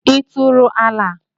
Ị tụrụ ala?